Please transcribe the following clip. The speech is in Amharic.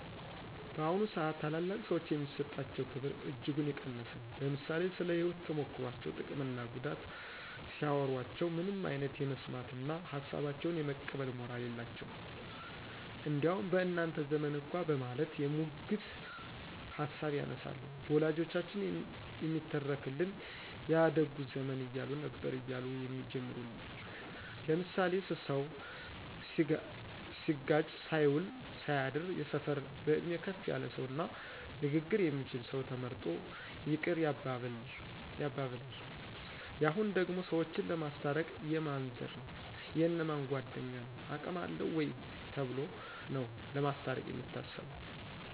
በአሁኑ ስአት ታላላቅ ሰዎች የሚሰጣቸው ክብር እጅጉን የቀነሰ ነው። ለምሳሌ ስለ ህይወት ተሞክሮቸው ጥቅም እና ጉዳት ሲያዎሮቸው ምንም አይነት የመስማት እነ ሀሳባቸውን የመቀበል ሞራል የላቸውም። እንዲያውም በእናንተ ዘመን እኳ በማለት የሙግት ሀሳብ ያነሳሉ። በወላጆቻችን የሚተረክልን ያ ደጉ ዘመን እያሉ ነበር እያሉ የሚጀምሩል ለምሳሌ ስሰው ሲጋጭ ሳይውል ሳያድር የሰፈር በእድሜ ከፍ ያለ ሰው እና ንግግር የሚችል ሰው ተመርጦ ይቅር ያባብላን። የሁኑ ደግሞ ሰዎችን ለማስታረቅ የማን ዘር ነው : የእነ ማን ጓድኞ ነው አቅም አለው ወይ ተብሎ ነው ለማስታርቅ የሚታሰበው